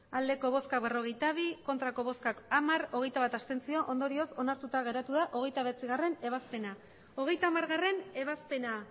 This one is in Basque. hamairu bai berrogeita bi ez hamar abstentzioak hogeita bat ondorioz onartuta geratu da hogeita bederatzigarrena ebazpena hogeita hamargarrena ebazpena